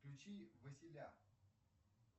включи василя